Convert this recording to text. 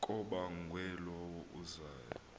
kabongwe low uzayo